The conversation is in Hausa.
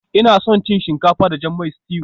Ina son cin shinkafa da jan mai stew